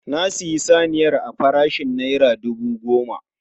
Na siyi saniyar a farashin naira dubu goma